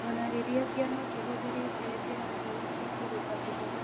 O na rĩrĩa kĩama kĩhũthĩrĩte njĩra njega cia kũruta ũhoro.